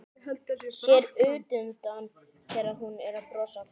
Sér útundan sér að hún er að brosa að honum.